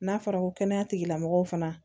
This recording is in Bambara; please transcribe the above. N'a fɔra ko kɛnɛya tigilamɔgɔw fana